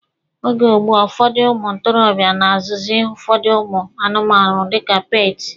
Oge ugbua, ụfọdụ ụmụ ntorobịa na-azụzị ụfọdụ ụmụ anụmanụ dika peeti.